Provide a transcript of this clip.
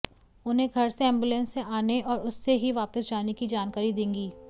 उन्हें घर से एंबुलेंस से आने और उससे ही वापस जाने की जानकारी देंगी